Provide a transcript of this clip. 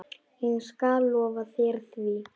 Ég skal lofa þér því.